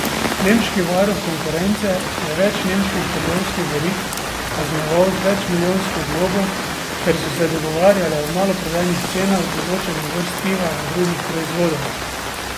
Nemški varuh konkurence je več nemških trgovskih verig kaznoval z večmilijonsko globo, ker so se dogovarjale o maloprodajnih cenah določenih vrst piva in drugih proizvodov.